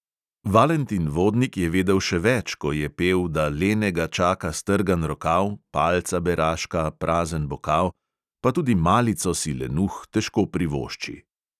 Valentin vodnik je vedel še več, ko je pel, da lenega čaka strgan rokav, palca beraška, prazen bokal, pa tudi malico si lenuh težko privošči.